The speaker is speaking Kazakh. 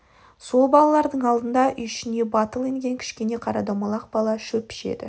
сол балалардың алдында үй ішіне батыл енген кішкене қара домалақ бала шөпіш еді